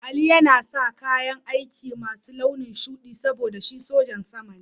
Ali yana sa kayan aiki masu launin shuɗi saboda shi sojan sama ne.